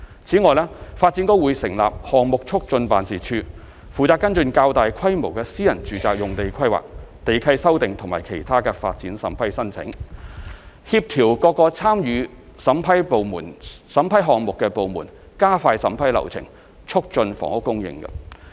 此外，發展局將會成立項目促進辦事處，負責跟進較大規模的私人住宅用地規劃、地契修訂和其他發展審批申請，協調各個參與審批項目的部門加快審批流程，促進房屋供應。